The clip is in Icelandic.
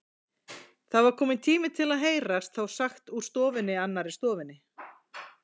Það var kominn tími til heyrðist þá sagt úr annarri stofunni.